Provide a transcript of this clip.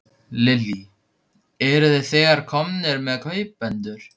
Lillý: Eruð þið þegar komnir með kaupendur?